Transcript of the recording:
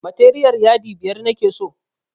Materiyal yadi biyar nake so